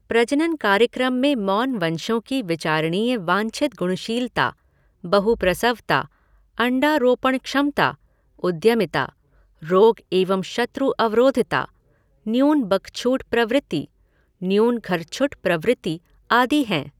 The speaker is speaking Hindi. प्रजनन कार्यक्रम में मौनवंशों की विचारणीय वांछित गुणशीलता, बहुप्रसवता, अण्डारोपण क्षमता, उद्यमिता, रोग एवं शत्रु अवरोधिता, न्यून बकछूट प्रवृत्ति, न्यून घरछुट प्रवृत्ति, आदि हैं।